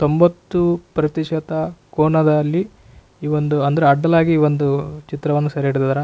ತೊಂಬತ್ತು ಪ್ರತಿಶತ ಕೋನದಲ್ಲಿ ಈ ವೊಂದು ಅಂದರೆ ಅಡ್ಡಲಾಗಿ ಒಂದು ಚಿತ್ರವನ್ನು ಸೆರೆ ಹಿಡಿದಾರ.